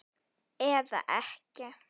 Eða ekki.